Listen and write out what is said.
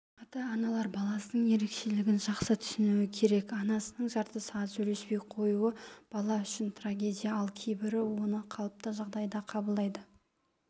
ата-аналар баласының ерекшелігін жақсы түсінуі керек анасының жарты сағат сөйлеспей қоюы бала үшін трагедия ал кейбірі оны қалыпты жағдай қабылдайды